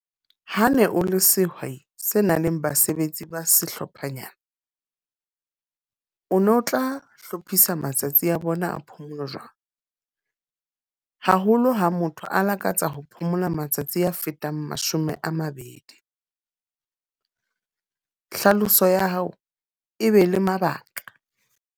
Ha ne o le sehwai se nang le basebetsi ba sehlophanyana. O no tla hlophisa matsatsi a bona a phomolo jwang? Haholo ha motho a lakatsa ho phomola matsatsi a fetang mashome a mabedi. Hlaloso ya hao e be le mabaka.